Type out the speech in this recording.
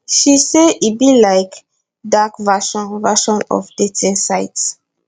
she say e be like dark version version of dating site